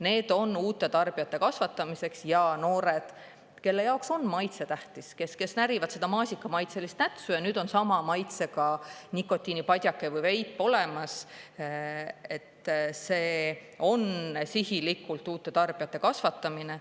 Need on uute tarbijate kasvatamiseks ja noored, kelle jaoks on maitse tähtis, kes närivad seda maasikamaitselist nätsu, ja nüüd on sama maitsega nikotiinipadjake või veip olemas, see on sihilikult uute tarbijate kasvatamine.